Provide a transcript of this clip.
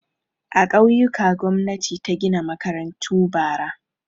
A ƙauyuka gwamnati ta gina makarantu bara.